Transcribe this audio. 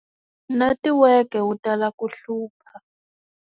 Netiweke wu tala ku hlupha.